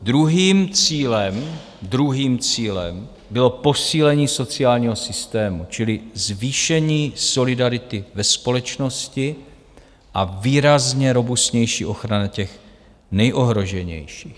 Druhým cílem bylo posílení sociálního systému, čili zvýšení solidarity ve společnosti a výrazně robustnější ochrana těch nejohroženějších.